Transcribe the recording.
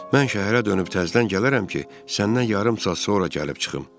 Mən şəhərə dönüb təzdən gələrəm ki, səndən yarım saat sonra gəlib çıxım.